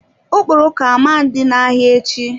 Okporoko ama dị na-ahịa echi.